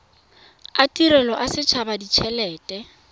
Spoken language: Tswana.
a tirelo a setshaba ditshelete